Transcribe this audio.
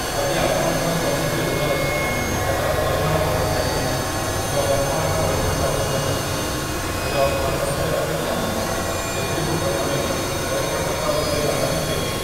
ଯଦି ଆପଣଙ୍କର କୌଣସି ଋଣ ଅଛି, ଯାହାର ପରିମାଣ ବଢ଼ିଚାଲିଛି, କିମ୍ବା ବର୍ତ୍ତମାନ ପଇଠ ନହୋଇ ରହିଛି, ତେବେ ଅର୍ଥ ସଞ୍ଚୟ ଅପେକ୍ଷା ସେଗୁଡ଼ିକୁ ପ୍ରଥମେ ପଇଠ କରିବା ଉପରେ ପ୍ରାଧାନ୍ୟ ଦିଅନ୍ତୁ ।